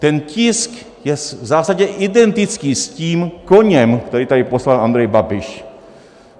Ten tisk je v zásadě identický s tím koněm, kterého sem poslal Andrej Babiš.